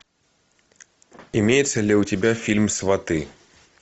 имеется ли у тебя фильм сваты